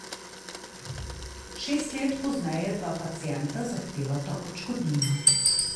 Šest let pozneje dva pacienta zahtevata odškodnino.